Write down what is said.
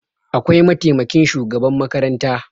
Akwai mataimakin shugaban makaranta